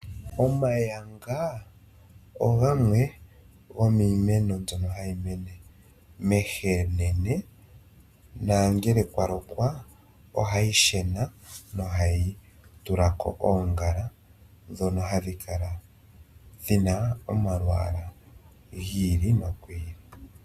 Omayanga ogo iimeno mbyoka hayi mene momalundu ,nongele omvula oya loko ohayi kala ya shena nokutulako oongala ndhono hadhi kala dhina omalwaala gi ili nogi ili.